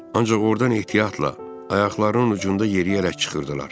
Ancaq ordan ehtiyatla, ayaqlarının ucunda yeriyərək çıxırdılar.